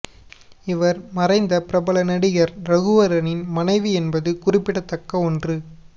இவர் மறைந்த பிரபல நடிகர் ரகுவரனின் மனைவி என்பது குறிப்பிட தக்க ஒன்று